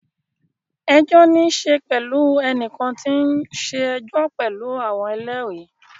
Ẹjọ́ ní í ṣe pẹ̀lú ẹnìkan tí ó ń ṣe ẹjọ́ pẹ̀lú àwọn ẹlẹ́rìí.